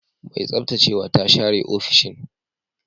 Mai tsaftacewa ta share ofishin.